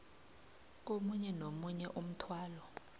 komunye nomunye umthwalo